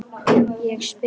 Ég spring.